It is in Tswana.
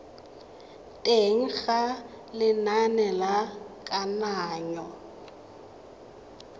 teng ga lenane la kananyo